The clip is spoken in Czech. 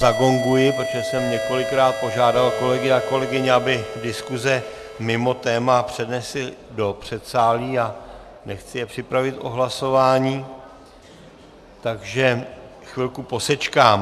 Zagonguji, protože jsem několikrát požádal kolegy a kolegyně, aby diskuse mimo téma přenesli do předsálí, a nechci je připravit o hlasování, takže chvilku posečkám.